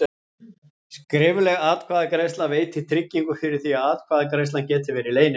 Skrifleg atkvæðagreiðsla veitir tryggingu fyrir því að atkvæðagreiðslan geti verið leynileg.